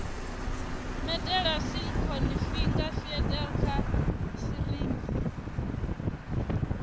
medela silicone finger feeder kha sirinzhi